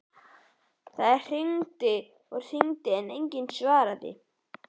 Það hringdi og hringdi en enginn svaraði.